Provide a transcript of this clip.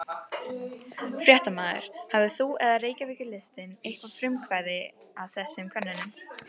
Fréttamaður: Hafðir þú eða Reykjavíkurlistinn eitthvað frumkvæði að þessum könnunum?